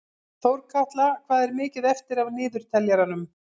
Þórkatla, hvað er mikið eftir af niðurteljaranum?